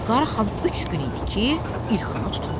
Qaraxan üç gün idi ki, ilxını tutmuşdu.